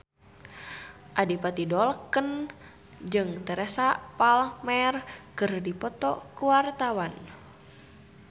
Adipati Dolken jeung Teresa Palmer keur dipoto ku wartawan